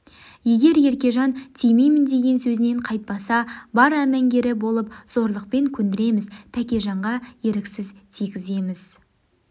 егер еркежан тимеймін деген сөзінен қайтпаса бар әмеңгері болып зорлықпен көндіреміз тәкежанға еріксіз тигіземіз